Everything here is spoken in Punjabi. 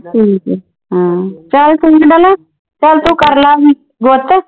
ਚਲ ਠੀਕ ਆ ਡੋਲੀ ਚਲ ਤੂੰ ਕਰਲਾ ਗੁੱਤ।